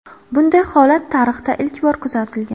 Bunday holat tarixda ilk bor kuzatilgan.